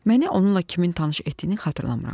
Məni onunla kimin tanış etdiyini xatırlamıram.